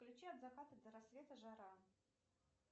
включи от заката до рассвета жара